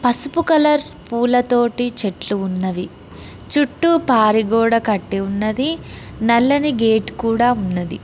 పసుపు కలర్ పూలతోటి చెట్లు ఉన్నవి చుట్టూ పారి గోడ కట్టి ఉన్నది నల్లని గేటు కూడా ఉన్నది.